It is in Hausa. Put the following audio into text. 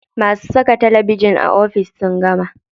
Masu saka talabijin a ofis sun gama.